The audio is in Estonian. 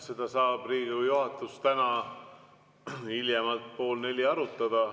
Seda saab Riigikogu juhatus täna hiljemalt kell pool neli arutada.